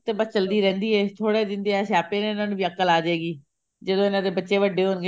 ਤੇ ਬਸ ਚਲਦੀ ਰਹਿੰਦੀ ਹੈ ਥੋੜੇ ਜਿੰਨੇ ਆਹ ਸਿਆਪੇ ਨੇ ਉਹਨਾ ਨੂੰ ਵੀ ਅਕਲ ਅਜੇਗੀ ਜਦੋਂ ਇਹਨਾ ਦੇ ਬੱਚੇ ਵੱਡੇ ਹੋਣਗੇ